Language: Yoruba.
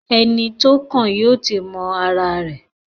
Ẹni tó kàn yóò ti mọ ara rẹ̀.